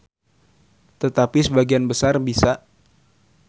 Tetapi sebagian besar bisa.